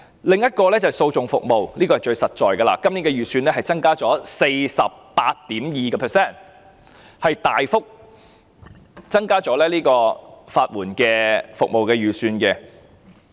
另一個綱領是訴訟服務，這是最實在的，今年的預算增加 48.2%， 大幅增加了法援服務的預算。